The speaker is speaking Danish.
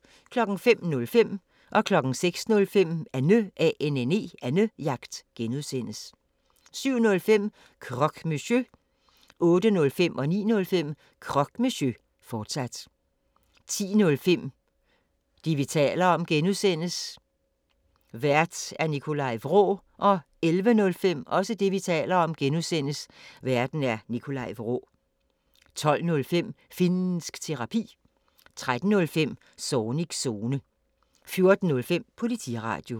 05:05: Annejagt (G) 06:05: Annejagt (G) 07:05: Croque Monsieur 08:05: Croque Monsieur, fortsat 09:05: Croque Monsieur, fortsat 10:05: Det, vi taler om (G) Vært: Nikolaj Vraa 11:05: Det, vi taler om (G) Vært: Nikolaj Vraa 12:05: Finnsk Terapi 13:05: Zornigs Zone 14:05: Politiradio